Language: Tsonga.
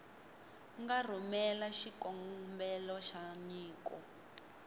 nga rhumela xikombelo xa nyiko